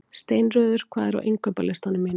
Steinröður, hvað er á innkaupalistanum mínum?